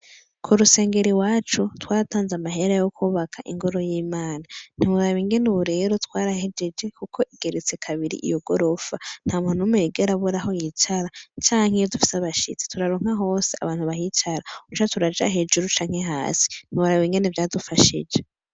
Kurusengero iwacu, twaratanze amahera yo kwubaka ingoro y'Imana. Ntiworaba ingene ubu rero twarahejeje kuko igeretse kabiri iyo gorofa , ntamuntu n'umwe yigera abura aho yicara cank'iyo dufise abashitsi ,turaronka hose abantu bahicara. Ushatse uraja hejuru canke hasi. Ntiworaba ingene vyadufashije.